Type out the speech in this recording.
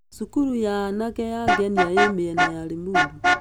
Cukuru ya anake ya Ngenia ĩĩ mĩena ya Limuru.